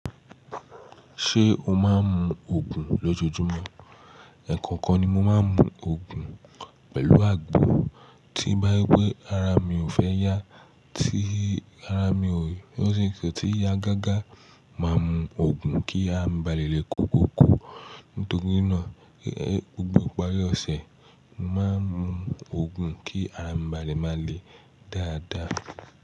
Ṣé o máa ń mu Ògùn lójojúmọ́? Eh ẹ̀kankan ni mo máa ń mu Ògùn pẹ̀lú àgbo tí bá ri pé ara mi ò fẹ́ yá, tí ara mi o, ò ti ya gágá, màá mu Ògùn kí ara mi ba lè le kóko ko. Nítorí náà ee, gbogbo ìparí ọ̀sẹ̀, màá mu Ògùn kí ara mi ba lè máa le dáadáa.